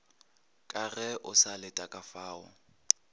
ka ge o sa letekafao